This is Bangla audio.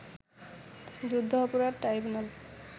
যুদ্ধাপরাধ ট্রাইব্যুনাল